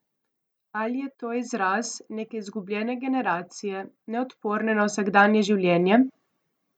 Ali je to izraz neke izgubljene generacije, neodporne na vsakdanje življenje?